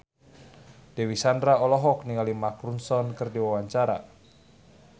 Dewi Sandra olohok ningali Mark Ronson keur diwawancara